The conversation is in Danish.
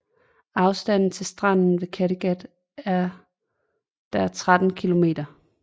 Afstanden til stranden ved Kattegat er der 13 kilometer